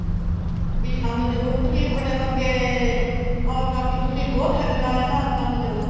B ਸਾਨੂੰ ਜਰੂਰਤ ਵੀ ਏ ਸਾਡੇ ਵਰਗੇ ਔਰਤਾ ਦੀ ਤੁਸੀਂ ਹੋਰ ਸਾਡੇ ਨਾਲ ਇਹਨਾ ਔਰਤਾ ਨੂੰ ਜੋੜੋ